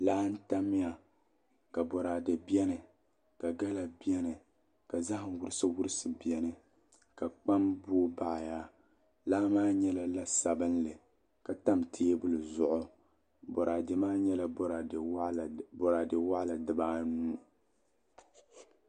Laa n tamya ka boraadɛ bɛni ka gala bɛni ka zaham wurisi wurisi bɛni ka kpam booi baɣaya laa maa nyɛla la sabinli ka tam teebuli zuɣu boraadɛ maa nyɛla boraadɛ waɣala dibaanu